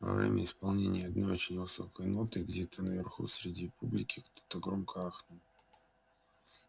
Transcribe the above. во время исполнения одной очень высокой ноты где-то наверху среди публики кто-то громко ахнул